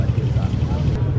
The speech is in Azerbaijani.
Yaxşıdır.